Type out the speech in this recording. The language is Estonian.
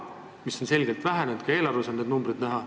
See on selgelt vähenenud ja ka eelarves on need numbrid näha.